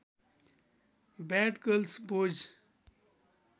bad girls boys